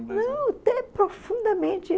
Não, profundamente.